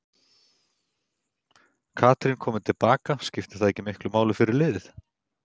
Katrín komin til baka, skiptir það ekki miklu máli fyrir liðið?